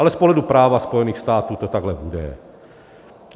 Ale z pohledu práva Spojených států to takhle bude.